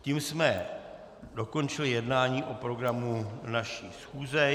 Tím jsme dokončili jednání o programu naší schůze.